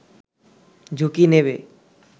ঝুঁকি নেবে